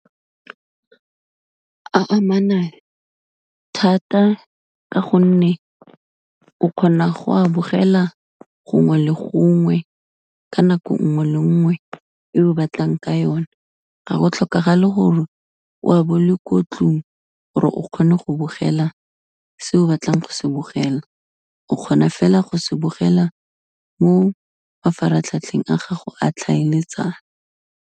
A amana thata ka gonne, o kgona go a bogela gongwe le gongwe, ka nako nngwe le nngwe e o batlang ka yone, ga go tlhokagale gore o a be o le ko ntlong gore o kgone go bogela se o batlang go se bogela, o kgona fela go se bogela mo mafaratlhatlheng a gago a tlhaeletsano.